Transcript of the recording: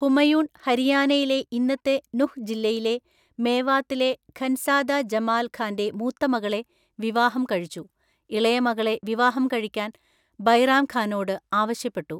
ഹുമയൂൺ ഹരിയാനയിലെ ഇന്നത്തെ നുഹ് ജില്ലയിലെ മേവാത്തിലെ ഖൻസാദ ജമാൽ ഖാന്റെ മൂത്ത മകളെ വിവാഹം കഴിച്ചു, ഇളയ മകളെ വിവാഹം കഴിക്കാൻ ബൈറാം ഖാനോട് ആവശ്യപ്പെട്ടു.